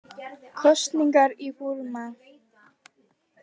Kosningar í Búrma